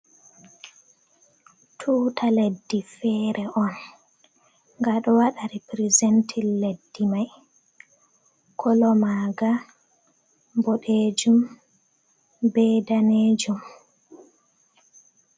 Tuta leddi fere on gaɗo waɗa ripirizentin leddi mai kolo maga boɗejum be danejum.